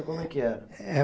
Como é que era?